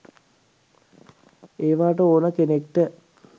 ඒවාට ඕන කෙනෙක්ට